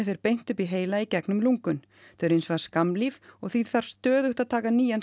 fer beint upp í heila í gegnum lungun þau eru hins vegar skammlíf og því þarf stöðugt að taka nýjan